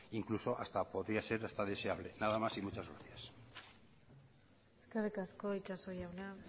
incluso hasta podría ser hasta deseable nada más y muchas gracias eskerrik asko itxaso jauna